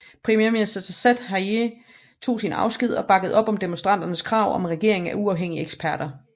Premierminister Saad Hariri tog sin afsked og bakkede op om demonstranternes krav om en regering af uafhængige eksperter